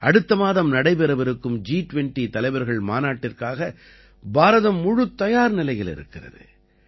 அடுத்த மாதம் நடைபெறவிருக்கும் ஜி20 தலைவர்கள் மாநாட்டிற்காக பாரதம் முழுத்தயார் நிலையில் இருக்கிறது